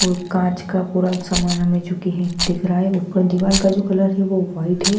व कांच का पूरा समान हमें जोकि है दिख रहा ऊपर दीवाल का जो कलर है वो व्हाइट है।